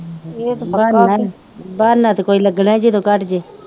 ਬਹਾਨਾ ਤੇ ਕੋਈ ਲਗਣਾ ਈ ਜਦੋ ਕੱਟ ਜੇ